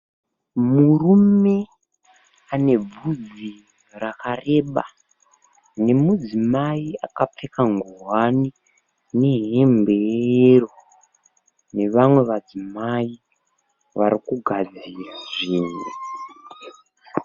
Murume anevhudzi rakareba, nemudzimai akapfeka nguwani nehembe yeyero, nevamwe madzimai varikugadzira zvinhu.